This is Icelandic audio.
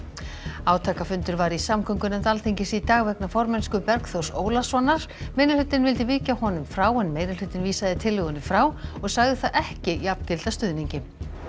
átakafundur var í samgöngunefnd Alþingis í dag vegna formennsku Bergþórs Ólasonar minnihlutinn vildi víkja honum frá en meirihlutinn vísaði tillögunni frá og sagði það ekki jafngilda stuðningi